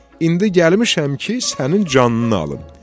İndi gəlmişəm ki, sənin canını alım.